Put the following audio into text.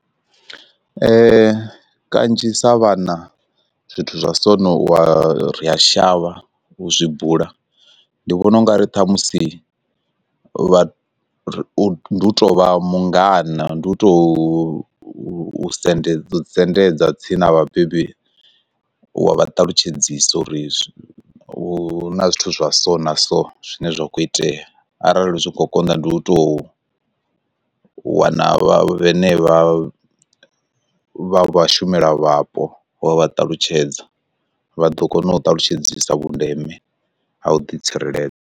Kanzhi sa vhana zwithu zwa sono u wa ri a shavha u zwi bula, ndi vhona ungari ṱhamusi vha u tovha mungana ndi u to u sendedza sendedza tsini na vhabebi u wa vha ṱalutshedzisa uri u na zwithu zwa so na so zwine zwa khou itea arali zwi kho konḓa ndi u tou wana vha vhene vha vha vha shumela vhapo wa vha ṱalutshedza, vha ḓo kona u ṱalutshedzisa vhundeme ha u ḓi tsireledza.